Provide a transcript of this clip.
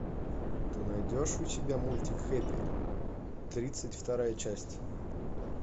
ты найдешь у себя мультик хэппи тридцать вторая часть